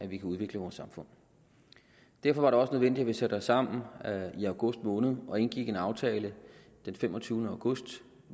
vi kan udvikle vores samfund derfor var det også nødvendigt at vi satte os sammen i august måned og indgik en aftale den femogtyvende august